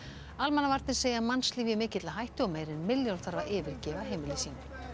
almannavarnir segja mannslíf í mikilli hættu og meira en milljón þarf að yfirgefa heimili sín